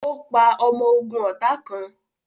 Ó pa ọmọ ogún ọ̀tá kàn